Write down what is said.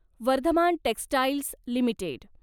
Vardhman textiles limited